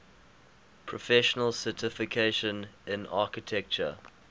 professional certification in architecture